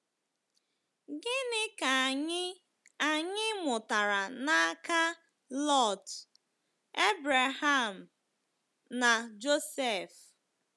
Gịnị ka anyị anyị mụtara n'aka Lọt, Ebreham, na Josef?